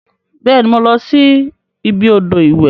Beeni, mo losi ibi odo iwe.